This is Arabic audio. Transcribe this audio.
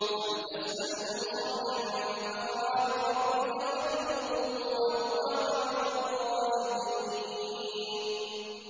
أَمْ تَسْأَلُهُمْ خَرْجًا فَخَرَاجُ رَبِّكَ خَيْرٌ ۖ وَهُوَ خَيْرُ الرَّازِقِينَ